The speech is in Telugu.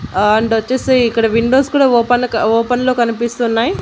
అండ్ వచ్చేసి ఇక్కడ విండోస్ కూడా ఓపెన్ లో క ఓపెన్ లొ కనిపిస్తున్నాయి.